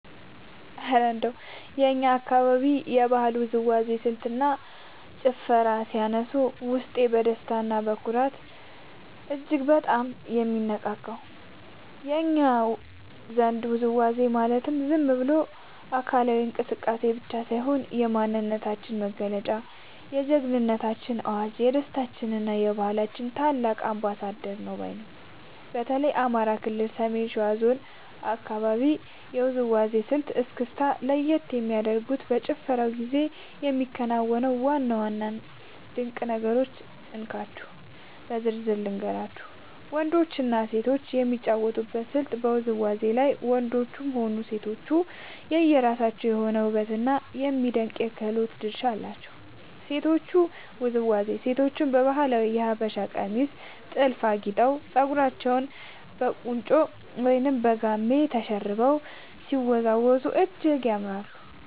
እረ እንደው የእኛን አካባቢ የባህላዊ ውዝዋዜ ስልትና ጭፈርማ ሲያነሱት፣ ውስጤ በደስታና በኩራት እጅግ በጣም ነው የሚነቃቃው! እኛ ዘንድ ውዝዋዜ ማለት ዝም ብሎ አካላዊ እንቅስቃሴ ብቻ ሳይሆን፣ የማንነታችን መገለጫ፣ የጀግንነታችን አዋጅ፣ የደስታችንና የባህላችን ታላቅ አምባሳደር ነው ባይ ነኝ። በተለይ የአማራ ክልል የሰሜን ሸዋ አካባቢን የውዝዋዜ ስልት (እስክስታ) ለየት የሚያደርጉትንና በጭፈራው ጊዜ የሚከናወኑትን ዋና ዋና ድንቅ ነገሮች እንካችሁ በዝርዝር ልንገራችሁ፦ . ወንዶችና ሴቶች የሚጫወቱበት ስልት በውዝዋዜው ላይ ወንዶችም ሆኑ ሴቶች የየራሳቸው የሆነ ውብና የሚደነቅ የክህሎት ድርሻ አላቸው። የሴቶቹ ውዝዋዜ፦ ሴቶቻችን በባህላዊው የሀበሻ ቀሚስና ጥልፍ አጊጠው፣ ፀጉራቸውን በቁንጮ ወይም በጋማ ተሸርበው ሲወዝወዙ እጅግ ያምራሉ።